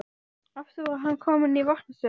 Aftur var hann kominn í varnarstöðu.